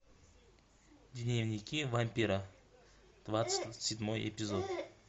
дневники вампира двадцать седьмой эпизод